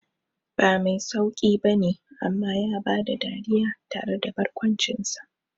Ba mai sauqi bane amma ya bada dariya tare da barkwancinsa.